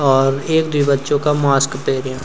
और ऐक-द्वि बच्चो का मास्क पैर्यां।